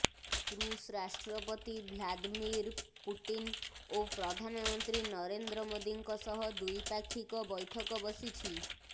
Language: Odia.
ଋଷ ରାଷ୍ଟ୍ରପତି ଭ୍ଲାଦିମିର୍ ପୁଟିନ୍ ଓ ପ୍ରଧାନମନ୍ତ୍ରୀ ନରେନ୍ଦ୍ର ମୋଦିଙ୍କ ସହ ଦ୍ୱିପାକ୍ଷିକ ବୈଠକ ବସିଛି